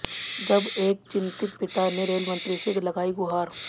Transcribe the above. जब एक चिंतित पिता ने रेलमंत्री से लगाई गुहार